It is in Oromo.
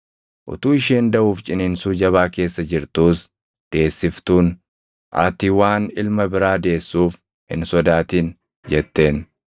Utuu isheen daʼuuf ciniinsuu jabaa keessa jirtuus deessiftuun, “Ati waan ilma biraa deessuuf hin sodaatin” jetteen.